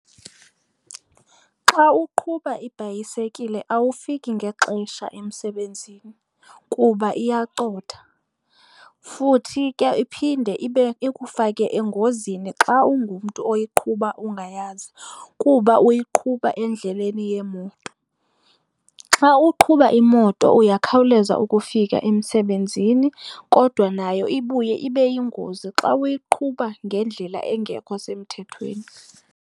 Xa uqhuba ibhayisekile awufiki ngexesha emsebenzini kuba iyacotha. Futhi ke iphinde ibe ikufake engozini xa ungumntu oyiqhuba ungayazi kuba uyiqhuba endleleni yeemoto. Xa uqhuba imoto uyakhawuleza ukufika emsebenzini kodwa nayo ibuye ibe yingozi xa uyiqhuba ngendlela engekho semthethweni.